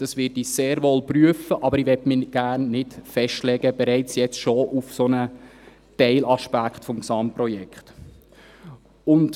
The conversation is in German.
Das werde ich sehr wohl prüfen, aber ich möchte mich nicht bereits jetzt auf einen solchen Teilaspekt des Gesamtprojekts festlegen.